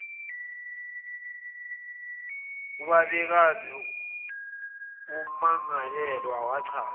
ubabekazi wommangalelwa wachaza